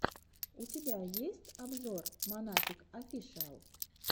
у тебя есть обзор монатик офишиал